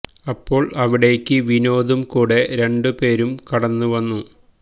അപ്പോള് അവിടേക്ക് വിനോദും കൂടെ രണ്ട് പേരും കടന്നു വന്നു